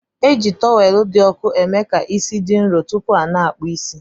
Eji tọwelu di ọku emeka isi di nrọ tupu ana akpụ isi.